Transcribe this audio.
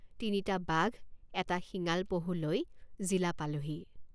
তিনিটা বাঘ এটা শিঙাল পহু লৈ জিলা পালোহি।